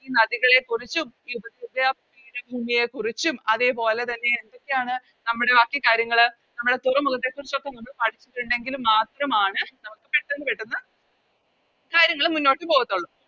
ഈ നദികളെക്കുറിച്ചും ഈ ഉപദ്വേപീയ പീഠഭൂമിയെ കുറിച്ചും അതേപോലെ തന്നെ എന്തൊക്കെയാണ് നമ്മുടെ ബാക്കി കാര്യങ്ങള് നമ്മുടെ തുറമുഖത്തെക്കുറിച്ച് ഒക്കെ നമ്മള് പഠിച്ചിട്ടുണ്ടെങ്കില് മാത്രമാണ് നമുക്ക് പെട്ടന്ന് പെട്ടന്ന് കാര്യങ്ങള് മുന്നോട്ട് പോകാത്തൊള്ളൂ